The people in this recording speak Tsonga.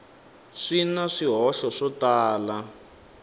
swi na swihoxo swo tala